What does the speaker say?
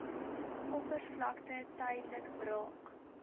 oppervlakte tydelik braak